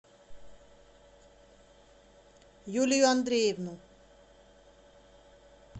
юлию андреевну